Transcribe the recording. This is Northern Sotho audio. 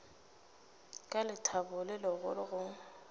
ka lethabo le legolo go